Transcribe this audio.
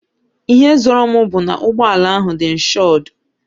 Ihe zoro m bu ná ụgbọala ahụ dị inshodu